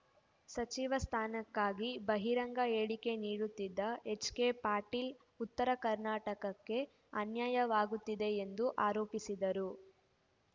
ಸಚಿವ ಸ್ಥಾನಕ್ಕಾಗಿ ಬಹಿರಂಗ ಹೇಳಿಕೆ ನೀಡುತ್ತಿದ್ದ ಎಚ್‌ಕೆ ಪಾಟೀಲ್‌ ಉತ್ತರ ಕರ್ನಾಟಕಕ್ಕೆ ಅನ್ಯಾಯವಾಗುತ್ತಿದೆ ಎಂದು ಆರೋಪಿಸಿದ್ದರು